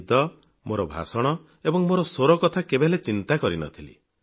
ମୁଁ ନିଦ ମୋର ଭାଷଣ ଏବଂ ମୋର ସ୍ୱର କଥା କେବେହେଲେ ଚିନ୍ତା କରିନଥିଲି